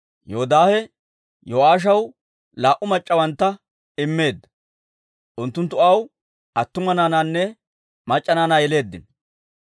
Yoodaahe Yo'aashaw laa"u mac'c'awantta immeedda; unttunttu aw attuma naanaanne mac'c'a naanaa yeleeddino.